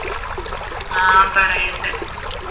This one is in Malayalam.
ആഹ് പറയുണ്ട്